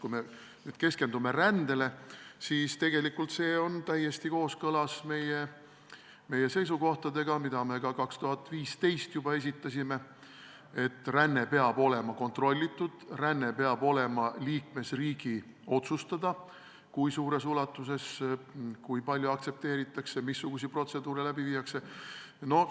Kui me nüüd keskendume rändele, siis tegelikult see eelnõu on täiesti kooskõlas meie seisukohtadega, mida me juba aastal 2015 esitasime: ränne peab olema kontrollitud, peab olema liikmesriigi otsustada, kui suures ulatuses rännet aktsepteeritakse, missuguseid protseduure läbi viiakse.